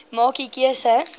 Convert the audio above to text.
maak u keuse